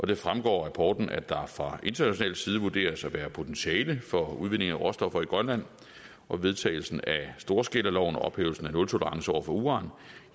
det fremgår af rapporten at der fra international side vurderes at være potentiale for udvinding af råstoffer i grønland og vedtagelsen af storskalaloven og ophævelsen af nultolerance over for uran